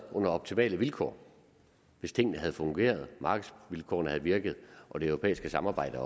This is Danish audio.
under optimale vilkår hvis tingene havde fungeret markedsvilkårene havde virket og det europæiske samarbejde